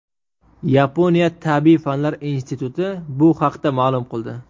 Yaponiya tabiiy fanlar instituti bu haqda ma’lum qildi.